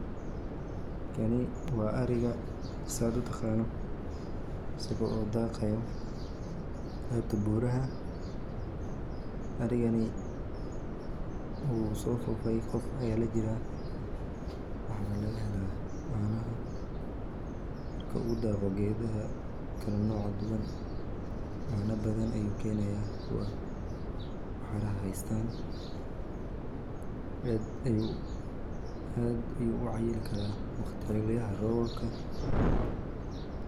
Kani waa ariga sidad utaqano asago dhaqayo xebta buraha, arigani wuu sofofay qef aya lajiraa waxa laga hela caanaha marka uu dhaqo gedaha kala noca duban ,caana badan ayu keenaya kuwa waxara haystan aad ayu u cayili karaa xiliyaha robobka